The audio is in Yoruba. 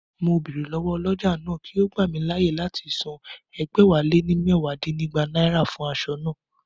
Mo bèrè lọ́wọ́ ọlọ́jà náà kí ó gbà mí láyè láti san ẹgbẹ̀wáléní mẹwa dínígba náírà fún aṣọ naa